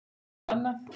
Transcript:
Hvernig getum við annað?